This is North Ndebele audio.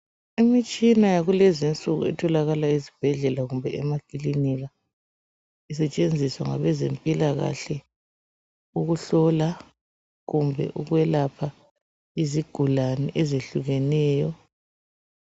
Imitshina yakulezinsuku etholakala ezibhedlela kumbe emakilinika isetshenziswa ngabezempilakahle ukuhlola kumbe ukwelapha izigulane ezehlukeneyo.